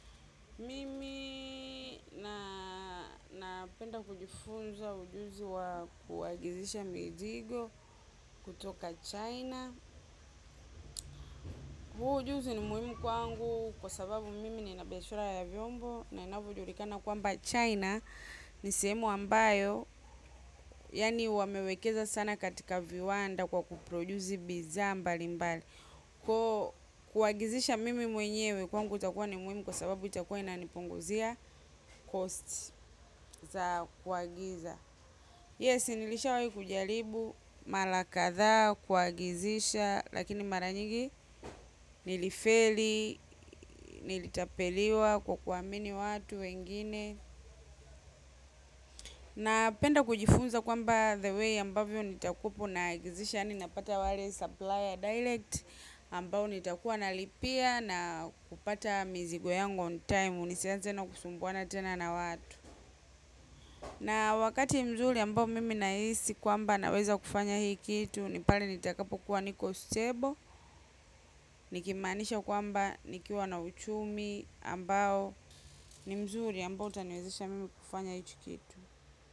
Mimi napenda kujifunza ujuzi wa kuagizisha mizigo kutoka China. Huu ujuzi ni muhimu kwangu kwa sababu mimi nina biashura ya vyombo na inavyo julikana kwamba China. Ni sehemu ambayo, yani wamewekeza sana katika viwanda kwa kuprojuzi bidhaa mbali mbali. Kuagizisha mimi mwenyewe kwangu itakua ni muhimu kwa sababu itakua inanipunguzia cost za kuagiza. Yes, nilishawahi kujalibu, mala kadhaa, kuagizisha, lakini maranyingi nilifeli, nilitapeliwa kwa kuamini watu wengine. Napenda kujifunza kwamba the way ambavyo nitakupo na agizisha, ni napata wale supplier direct, ambao nitakuwa nalipia na kupata mizigo yangu on time, nisianze tena kusumbuana tena na watu. Na wakati mzuri ambao mimi naisi kwamba naweza kufanya hii kitu nipale nitakapo kuwa niko stable. Nikimanisha kwamba nikiwa na uchumi ambao ni mzuri ambao utaniwezesha mimi kufanya hichi kitu.